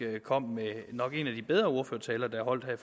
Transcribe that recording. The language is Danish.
kom med nok en af de bedre ordførertaler der er holdt her